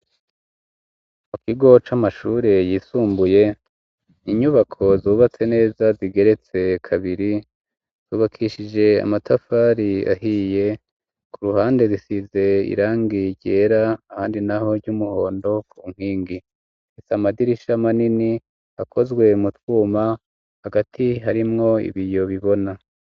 Mu kigo c'amashure yisumbuye inyubako zubatse neza ,zigeretse kabiri zubakishije amatafari ahiye, ku ruhande zisize irangi ryera ,handi naho ry'umuhondo ,kunkingi ifise Amadirisha manini akozwe mu twuma hagati harimwo ibiyo bibona.